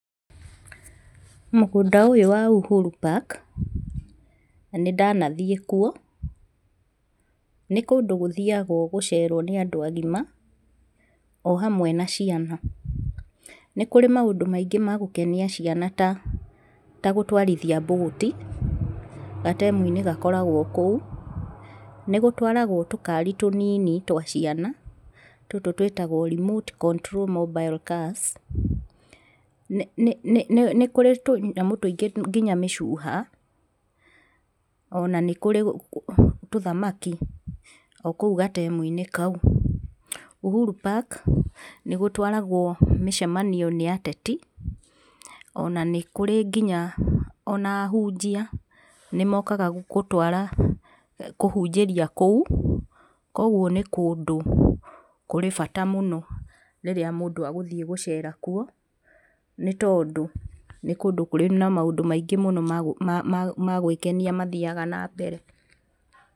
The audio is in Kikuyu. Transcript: Mũgũndũ ũyũ wa Uhuru park, nĩ ndanathiĩ kuo. Nĩ kũndũ gũthiyagwo gũcerwo nĩ andũ agima, o ũndũ ũmwe na ciana. Nĩ kũrĩ maũndũ maingĩ ma gũkenia ciana ta ta gũtwarithia mbũti, gatemu-inĩ gakoragwo kũu, nĩ gũtwaragwo tũkari tũnini twa ciana, tũtũ twĩtagwo remote control mobile cars, nĩ kũrĩ tũnyamũ tũingĩ nginya mĩcuha. Ona nĩ kũrĩ tuthamaki, o kũu gatmu-inĩ kau. Ũhuru park, nĩ gũtwaragwo mĩcemanio nĩ ateti, ona nĩ kũrĩ nginya ahunjia, nĩmokaga kũhunjĩria kũu, Koguo nĩ kũndũ kũrĩ bata mũno, rĩrĩa mũndũ egũthiĩ gecera kuo, nĩ tondũ, nĩ kũndũ kũrĩ na maũndũ maingĩ mũno ma gwĩkenia mathiyaga na mbere.